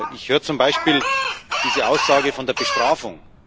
Ich höre zum Beispiel diese Aussage von der Bestrafung.